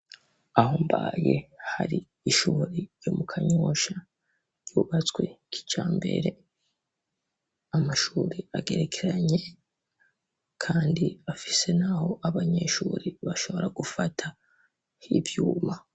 Aho mbaye hari ishuri ryo mu Kanyosha ryubatswe kijambere , amashuri agerekeranye, kandi afise naho abanyeshure bashobora gufata h'ivyuma